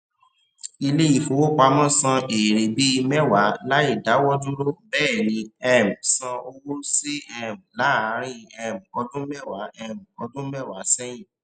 ilé ìfowópamọ san èèrè bíi mẹwa láì dáwọdúró bẹẹni um san owó síi um láàrín um ọdún mẹwa um ọdún mẹwa sẹyìn